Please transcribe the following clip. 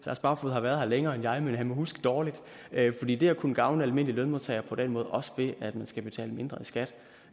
lars barfoed har været her længere end mig men han må huske dårligt fordi det at kunne gavne almindelige lønmodtagere på den måde også ved at man skal betale mindre i skat